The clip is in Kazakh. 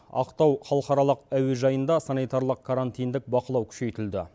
ақтау халықаралық әуежайында санитарлық карантиндық бақылау күшейтілді